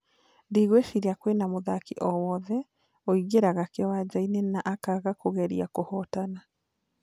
Ndigueciria kwĩna mũthaki o wothe ũigeraga kĩwanjaĩne na akaaga kũgeria kuhotana